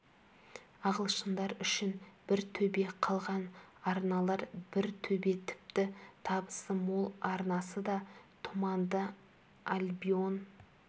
ағылшындар үшін бір төбе қалған арналар бір төбе тіпті табысы мол арнасы да тұманды альбион